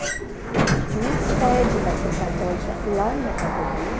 A gente tinha uma sede da ação católica lá na casa dele.